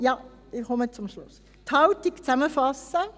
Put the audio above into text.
Ja, ich komme zum Schluss, ich fasse die Haltung zusammen: